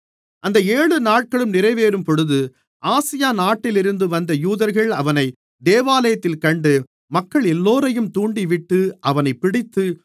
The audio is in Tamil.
அந்த ஏழு நாட்களும் நிறைவேறும்பொழுது ஆசியா நாட்டிலிருந்து வந்த யூதர்கள் அவனை தேவாலயத்திலே கண்டு மக்களெல்லோரையும் தூண்டிவிட்டு அவனைப் பிடித்து